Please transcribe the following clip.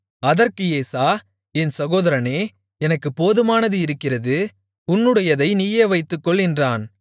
அதற்கு ஏசா என் சகோதரனே எனக்குப் போதுமானது இருக்கிறது உன்னுடையதை நீயே வைத்துக்கொள் என்றான்